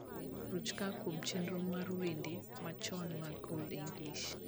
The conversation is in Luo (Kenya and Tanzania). ruch kaakuom chenro mara mar wende ma chon mag old english